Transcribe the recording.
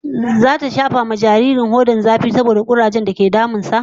Zata shafa wa jaririn hodar jarirai mai magani saboda kurajen zafi dake damun sa